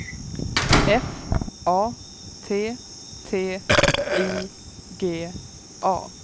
F A T T I G A